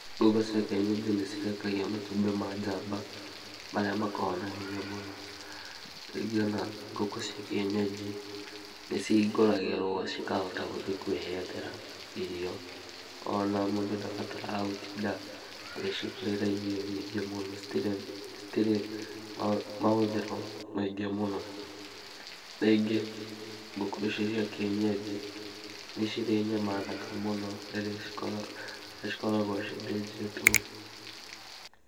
Ngũkũ cia kĩenyenji nĩ cirekagia matumbĩ ma njamba marĩa makoragwo na hinya mũno. Rĩngĩ ona ngũkũ cia kĩenyenji nĩ cihingũragĩrwo cikahota gũthiĩ kwĩyethera irio, ona mũndũ ndabataraga gũtinda agĩcigũrĩra irio nyingĩ mũno, citirĩ mahũthĩro maingĩ mũno. Rĩngĩ ngũkũ icio cia kĩenyenji nĩ cirĩ nyama thaka mũno rĩrĩa cikoragwo cithĩnjĩtwo.